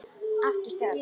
Aftur þögn.